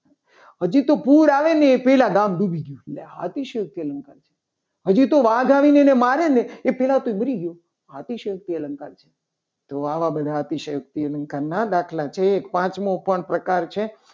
હજુ તો પૂર આવે ને એ પહેલા ગામ ડૂબી ગયો. અને અતિશય અલંકાર કહેવાય. હજી તો વાઘ આવે અને એને મારે ને એ પહેલા તો એ મરી ગયો. આથી સાહેબ થી અલંકાર છે. તો આવા બધા અતિશયોક્તિ અલંકાર ના દાખલા જોઈએ. તો એક પાંચમું પણ પ્રકાર છે.